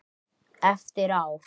Eftir ár?